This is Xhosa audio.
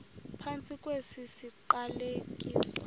phantsi kwesi siqalekiso